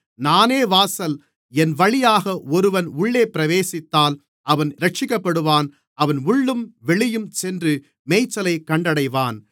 நானே வாசல் என்வழியாக ஒருவன் உள்ளே பிரவேசித்தால் அவன் இரட்சிக்கப்படுவான் அவன் உள்ளும் வெளியும் சென்று மேய்ச்சலைக் கண்டடைவான்